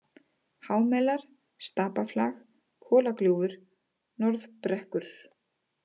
Hámelar, Stapaflag, Kolagljúfur, Norðbrekkur